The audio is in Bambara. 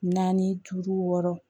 Naani duuru wɔɔrɔ